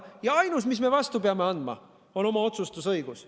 Ja ainus, mis me vastu peame andma, on oma otsustusõigus.